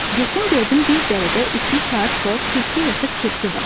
Getdim gördüm bir dərədə iki kar kor kürkü yırtıq kirpi var.